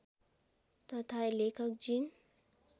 तथा लेखक जिन